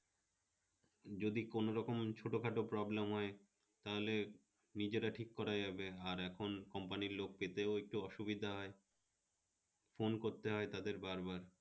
যদি কোনরকম ছোটখাট problem হয় তাহলে নিজেরা ঠিক করা যাবে, আর এখন company এর লোক পেতেও তো অসুবিধা হয় ফোন করতে হয় তাদের বারবার